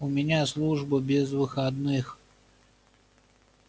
у меня служба без выходных